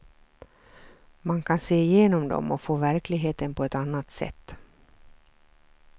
Man kan se igenom dem och få verkligheten på ett annat sätt.